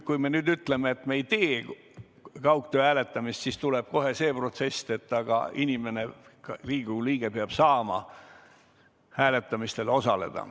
Kui me nüüd ütleme, et me ei tee kaugtöö korral hääletamist, siis tuleb kohe protest, et Riigikogu liige peab saama hääletamistel osaleda.